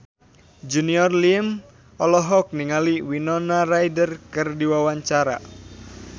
Junior Liem olohok ningali Winona Ryder keur diwawancara